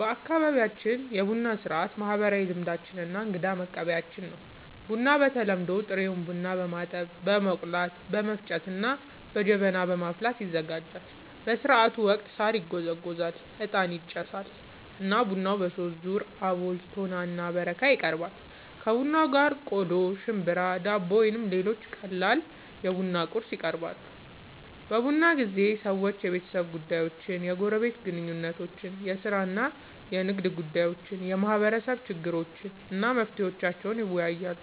በአካባቢያችን የቡና ሥርዓት ማህበራዊ ልምዶች እና እንግዳን መቀበያችን ነው። ቡናው በተለምዶ ጥሬ ቡናን በማጠብ፣ በመቆላት፣ በመፍጨት እና በጀበና በማፍላት ይዘጋጃል። በሥርዓቱ ወቅት ሣር ይጎዘጎዛል፣ ዕጣን ይጨሳል እና ቡናው በሦስት ዙር (አቦል፣ ቶና እና በረካ) ይቀርባል። ከቡናው ጋር ቆሎ፣ ሽምብራ፣ ዳቦ ወይም ሌሎች ቀላል የቡና ቁርስ ይቀርባል። በቡና ጊዜ ሰዎች የቤተሰብ ጉዳዮችን፣ የጎረቤት ግንኙነቶችን፣ የሥራ እና የንግድ ጉዳዮችን፣ የማህበረሰብ ችግሮችን እና መፍትሄዎቻቸውን ይወያያሉ።